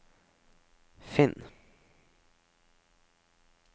finn